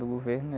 Do governo, né?